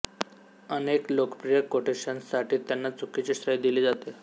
अनेक लोकप्रिय कोटेशन्ससाठी त्यांना चुकीचे श्रेय दिले जाते